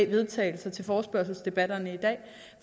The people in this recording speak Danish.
vedtagelse i forespørgselsdebatterne i dag